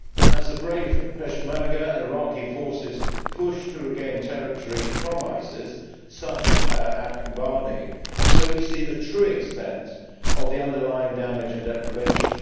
As the brave Peshmerga and Iraqi forces push to regain territory from ISIS, such as at Kobani, so we see the true extent of the underlying damage and deprivation.